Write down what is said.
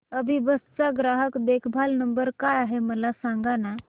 अभिबस चा ग्राहक देखभाल नंबर काय आहे मला सांगाना